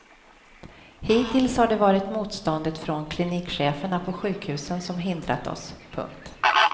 Hittills har det varit motståndet från klinikcheferna på sjukhusen som hindrat oss. punkt